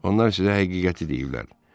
Onlar sizə həqiqəti deyiblər.